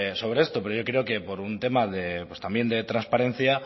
sobre esto pero yo creo que por un tema también de trasparencia